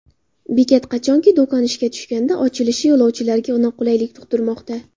Bekat qachonki do‘kon ishga tushganda ochilishi yo‘lovchilarga noqulaylik tugd’irmoqda.